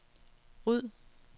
ryd